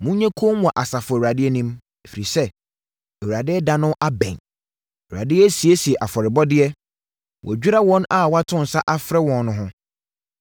Monyɛ komm wɔ Asafo Awurade anim, ɛfiri sɛ, Awurade ɛda no abɛn. Awurade asiesie afɔrebɔdeɛ; wadwira wɔn a wato nsa afrɛ wɔn no ho.